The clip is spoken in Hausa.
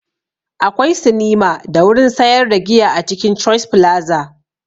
Akwai sinima da wurin sayar da giya a cikin choice flaza